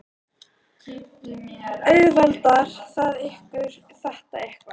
Auðveldar það ykkur þetta eitthvað?